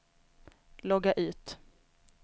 logga ut